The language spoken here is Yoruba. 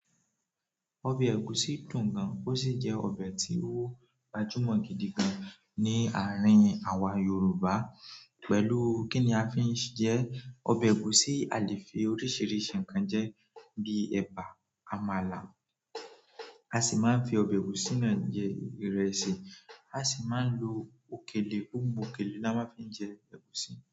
Ọbẹ̀ ẹ̀gúsí dùn gan, ó sì jẹ́ ọbẹ̀ tí ó gbajúmọ̀ gidi gan ní àárín àwa Yorùbá. Pẹ̀lú kíni a fi ń jẹ ẹ, ọbẹ̀ ẹ̀gúsí, a lè fi oríṣiríṣi nǹkan jẹ ẹ bi ẹ̀bà, àmàlà, a sì máa ń fi ọbẹ̀ ẹ̀gúsí náà jẹ ìrẹsì, a sì máa ń lo òkèlè–oun òkèlè la máa fi ń jẹ ẹ̀gúsí.